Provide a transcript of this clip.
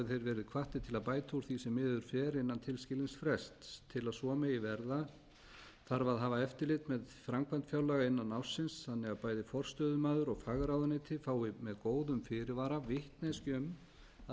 verið hvattir til að bæta úr því sem miður hefur farið innan tilskilins frests til að svo megi verða þarf að hafa eftirlit með framkvæmd fjárlaga innan ársins þannig að bæði forstöðumaður og fagráðuneyti fái með góðum fyrirvara vitneskju um að